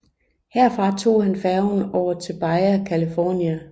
Herfra tog han færgen over til Baja California